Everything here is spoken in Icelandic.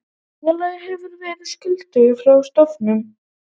Félagið hefur verið skuldlaust frá stofnun